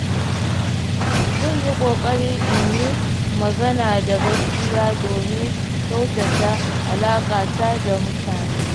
Zan yi ƙoƙari in yi magana da gaskiya domin kyautata alaƙata da mutane.